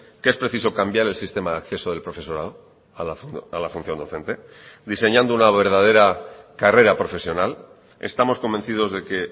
que es preciso cambiar el sistema de acceso del profesorado a la función docente diseñando una verdadera carrera profesional estamos convencidos de que